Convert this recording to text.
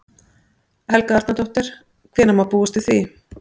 Helga Arnardóttir: Hvenær má búast við því?